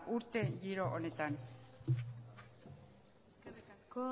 urte giro honetan eskerrik asko